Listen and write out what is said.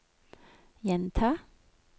gjenta